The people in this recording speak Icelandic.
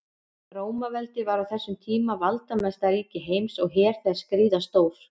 Rómaveldi var á þessum tíma valdamesta ríki heims og her þess gríðarstór.